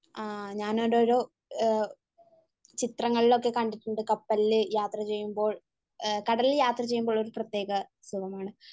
ആഹ് ഞാനവിടൊരു ചിത്രങ്ങളിലൊക്കെ കണ്ടിട്ടുണ്ട് കപ്പലിൽ യാത്ര ചെയ്യുമ്പോൾ. കടലിൽ യാത്ര ചെയ്യുമ്പോൾ ഒരു പ്രത്യേക സുഖമാണ്